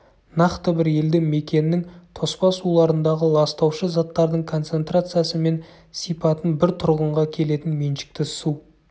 нақты бір елді мекеннің тоспа суларындағы ластаушы заттардың концентрациясы мен сипатын бір тұрғынға келетін меншікті су